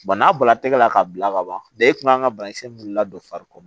Bana bɔla tɛgɛ la k'a bila ka ban e kun kan ka banakisɛ min wuli la don fari kɔnɔ